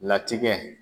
Latigɛ